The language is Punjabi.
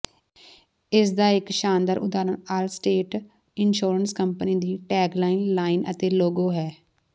ਇਸਦਾ ਇਕ ਸ਼ਾਨਦਾਰ ਉਦਾਹਰਨ ਆਲਸਟੇਟ ਇੰਸ਼ੋਰੈਂਸ ਕੰਪਨੀ ਦੀ ਟੈਗਲਾਈਨ ਲਾਈਨ ਅਤੇ ਲੋਗੋ ਹੈ